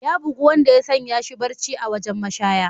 Ya bugu wanda ya sanya shi barci a wajen mashaya.